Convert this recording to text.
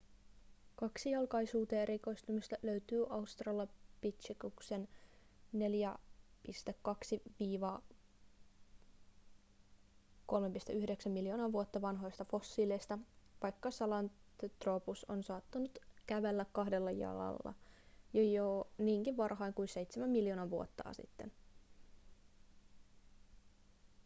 kaksijalkaisuuteen erikoistumista löytyy australopithecuksen 4,2–3,9 miljoonaa vuotta vanhoista fossiileista vaikka sahelanthropus on saattanut kävellä kahdella jalalla jo niinkin varhain kuin seitsemän miljoonaa vuotta sitten